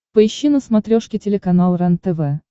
поищи на смотрешке телеканал рентв